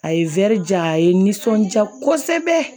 A ye ja a ye n nisɔndiya kosɛbɛ